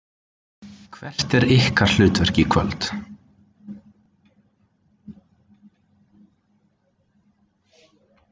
Hvert er ykkar hlutverk í kvöld?